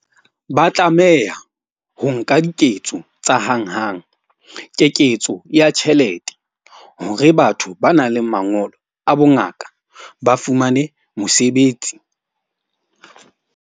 Ba tlameha ho nka diketso tsa hanghang. Keketso ya tjhelete hore batho ba nang le mangolo a bongaka ba fumane mosebetsi.